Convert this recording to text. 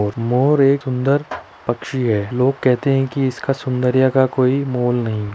और मोर एक सुंदर पक्षी हैं लोग कहते हैं की इसका सुन्दर्य का कोई मोल नहीं।